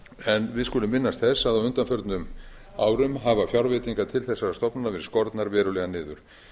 staðið við skulum minnast þess að á undanförnum árum hafa fjárveitingar til þessara stofnana verið skornar verulega niður